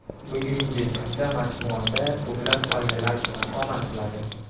Bugungi kunda majmuada ko‘plab oilalar istiqomat qiladi.